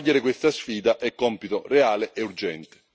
Cogliere questa sfida è un compito reale e urgente.